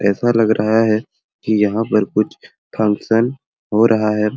ऐसा लग रहा है की यहाँ पर कुछ फंक्शन हो रहा है।